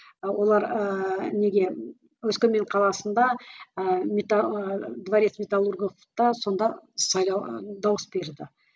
ы олар ыыы неге өскемен қаласында ыыы дворец металлурговта сонда сайлау ы дауыс берді